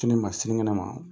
Sini ma sinikɛnɛ ma